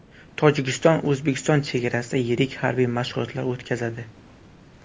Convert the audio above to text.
Tojikiston O‘zbekiston chegarasida yirik harbiy mashg‘ulotlar o‘tkazadi.